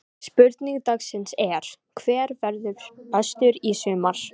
Spurning dagsins er: Hver verður bestur í sumar?